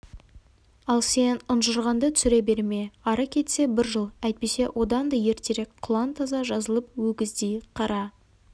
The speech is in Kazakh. ал сен ұнжырғаңды түсіре берме ары кетсе бір жыл әйтпесе одан да ертерек құлан таза жазылып өгіздей қара